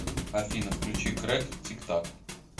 афина включи крек тик так